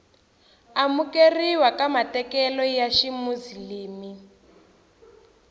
amukeriwa ka matekanelo ya ximuzilimi